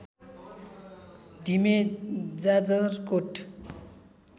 ढिमे Jajarkot